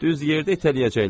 Düz yerdə itələyəcəklər.